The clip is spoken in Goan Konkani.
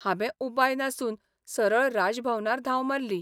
हांबें उपाय नासून सरळ राज भवनार धांव मारली.